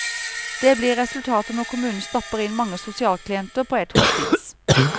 Det blir resultatet når kommunen stapper inn mange sosialklienter på ett hospits.